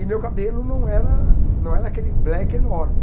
E meu cabelo não era não era aquele black enorme.